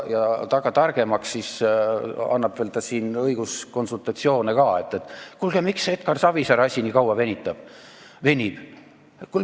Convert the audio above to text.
Taga targemaks, siis annab ta siin veel õiguskonsultatsioone ka, et kuulge, miks see Edgar Savisaare asi nii kaua venib.